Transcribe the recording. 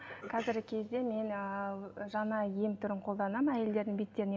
қазіргі кезде мен ыыы жаңа ем түрін қолданамын әйелдердің беттеріне